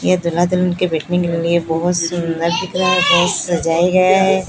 ये दूल्हा दुल्हन के बैठने के लिए बहोत सुंदर दिख रहा है बहोत सजाए गया है।